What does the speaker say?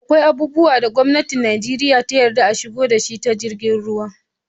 Akwai abubuwa da gwamnatin Nijeriya ta yadda a shigo da shi ta jiragen ruwa